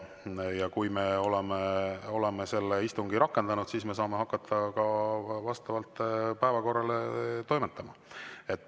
Ja kui me oleme selle istungi rakendanud, siis me saame hakata ka vastavalt päevakorrale toimetama.